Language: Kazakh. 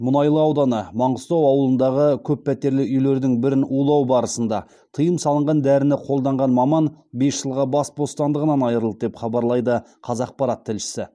мұнайлы ауданы маңғыстау ауылындағы көппәтерлі үйлердің бірін улау барысында тыйым салынған дәріні қолданған маман бес жылға бас бостандығынан айырылды деп хабарлайды қазақпарат тілшісі